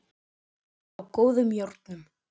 Að vera á góðum járnum